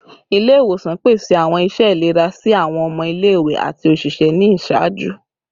Ile-iwosan pese awọn iṣẹ ilera si awọn ọmọ ile-iwe ati oṣiṣẹ ni iṣaaju